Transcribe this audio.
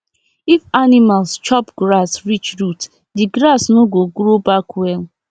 if animals chop grass reach root the grass no go grow back well